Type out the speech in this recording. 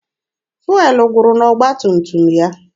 Fụelụ gwụrụ n'ọgba tum tum ya.